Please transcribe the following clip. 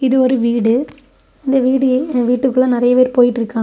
இது ஒரு வீடு இந்த வீடு வீட்டுக்குள்ள நறைய பேர் போயிட்டு இருக்காங்க.